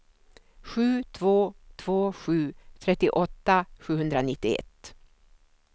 sju två två sju trettioåtta sjuhundranittioett